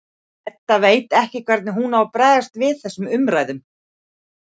Edda veit ekki hvernig hún á að bregðast við þessum umræðum.